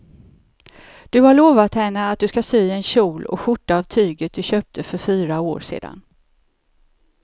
Du har lovat henne att du ska sy en kjol och skjorta av tyget du köpte för fyra år sedan.